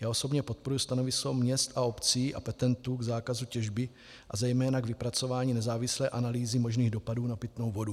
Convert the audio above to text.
Já osobně podporuji stanovisko měst a obcí a petentů k zákazu těžby a zejména k vypracování nezávislé analýzy možných dopadů na pitnou vodu.